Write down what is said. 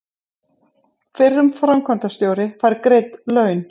Fyrrum framkvæmdastjóri fær greidd laun